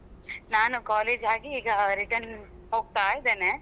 ನಾನು college ಆಗಿ ಈಗ return ಹೋಗ್ತಾ ಇದ್ದೇನೆ.